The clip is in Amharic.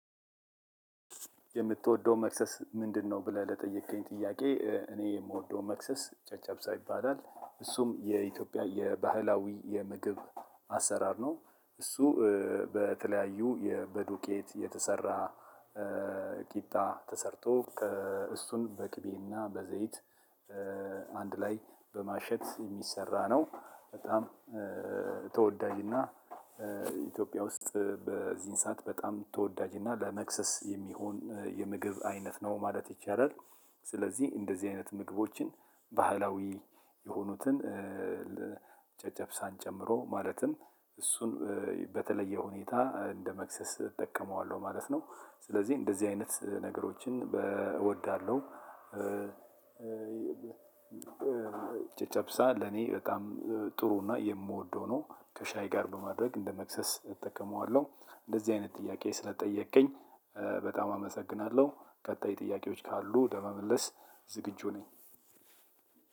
የምትወደው መክሰስ ምንድነው? ብለህ ለጠየከኝ ጥያቄ እኔ የምወደው መክሰስ ጨጨብሳ ይባላል። እሱም የኢትዮጵያ የባህላዊ የምግብ አሰራር ነው። እሱ በተለያዩ በዱቄት የተሰራ ቂጣ ተሰርቶ እሱን በቅቤና በዘይት አንድ ላይ በማሸት የሚሰራ ነው። በጣም ተወዳጅና ኢትዮጵያ ውስጥ በዚህን ሰዓት በጣም ተወዳጅና ለመክሰስ የሚሆን የምግብ አይነት ነው ማለት ይቻላል። ስለዚህ እንደዚህ አይነት ምግቦችን ባህላዊ የሆኑትን ጨጨብሳን ጨምሮ ማለትም እሱን በተለየ ሁኔታ እንደ መክሰስ እጠቀመዋለሁ ማለት ነው። ስለዚህ እንደዚህ አይነት ነገሮችን እወዳለሁ። ጨጨብሳ ለኔ በጣም ጥሩና የምወደው ነው። ከሻይ ጋር በማድረግ እንደመክሰስ እጠቀመዋለሁ። እንደዚህ አይነት ጥያቄ ስለጠየቅከኝ በጣም አመሰግናለሁ። ቀጣይ ጥያቄዎች ካሉ ለመመለስ ዝግጁ ነኝ።